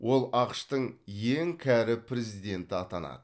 ол ақш тың ең кәрі президенті атанады